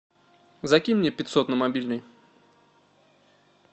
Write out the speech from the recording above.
закинь мне пятьсот на мобильный